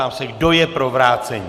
Ptám se, kdo je pro vrácení?